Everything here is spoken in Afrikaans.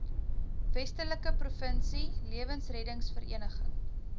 westelike provinsie lewensreddersvereniging